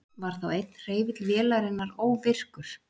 Var þá einn hreyfill vélarinnar óvirkur